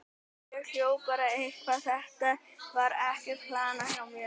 Ég hljóp bara eitthvað, þetta var ekkert planað hjá mér.